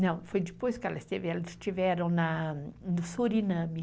Não, foi depois que ela esteve. Eles estiveram na.... no Suriname.